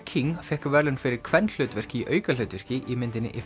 King fékk verðlaun fyrir kvenhlutverk í aukahlutverki í myndinni